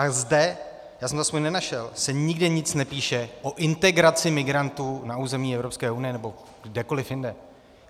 A zde, já jsem to aspoň nenašel, se nikde nic nepíše o integraci migrantů na území Evropské unie nebo kdekoliv jinde.